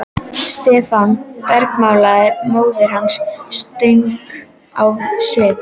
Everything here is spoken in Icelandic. Stefán! bergmálaði móðir hans ströng á svip.